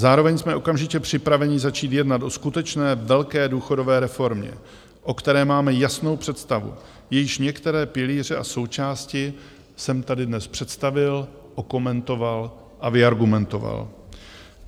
Zároveň jsme okamžitě připraveni začít jednat o skutečné velké důchodové reformě, o které máme jasnou představu, jejíž některé pilíře a součásti jsem tady dnes představil, okomentoval a vyargumentoval.